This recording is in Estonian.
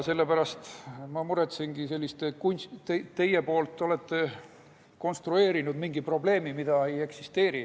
Sellepärast ma muretsengi teie kunstlikult konstrueeritud mingi probleemi pärast, mida ei eksisteeri.